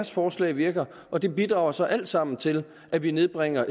forslag virker og det bidrager så alt sammen til at vi nedbringer